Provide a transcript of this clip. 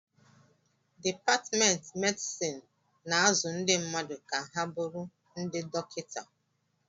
Dipatmentị medịsịn na-azụ ndị mmadụ ka ha bụrụ ndị dọkịta